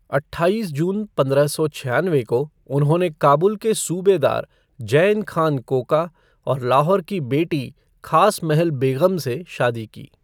अट्ठाईस जून पंद्रह सौ छयानवे को उन्होंने काबुल के सूबेदार जैन खान कोका और लाहौर की बेटी खास महल बेग़म से शादी की।